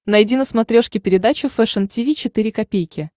найди на смотрешке передачу фэшн ти ви четыре ка